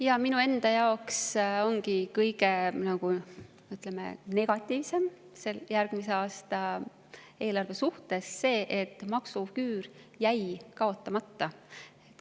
Jaa, minu enda jaoks ongi kõige, ütleme, negatiivsem järgmise aasta eelarves see, et maksuküür jäi kaotamata.